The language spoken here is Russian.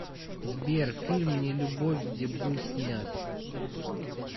сбер фильм не любовь где был снят